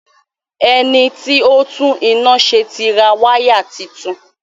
Ẹniti ó tún iná ṣe tí ra waya títún